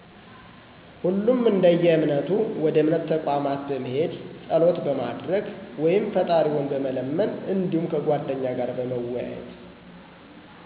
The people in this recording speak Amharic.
ሁሉም እደየእምነቱ ወደ እምነት ተቋማት በመሄድ ፀሎት በማድረግ ወይም ፍጣሪውን በመለመን እዲሁም ከጓደኛ ጋር በመወያየት።